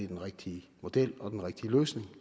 den rigtige model og den rigtige løsning